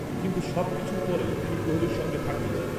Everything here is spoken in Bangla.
কিন্তু সব কিছুর পরেও, তিনি কোহলির সঙ্গে থাকতে চান